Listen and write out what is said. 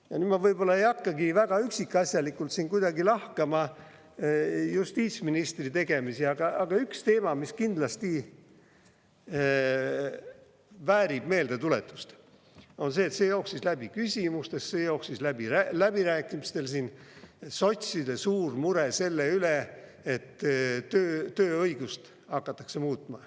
Ma nüüd võib-olla ei hakkagi väga üksikasjalikult lahkama justiitsministri tegemisi, aga üks teema, mis kindlasti väärib meeldetuletust, on see, mis jooksis läbi küsimustes ja jooksis läbi läbirääkimistel: sotside suur mure selle üle, et tööõigust hakatakse muutma.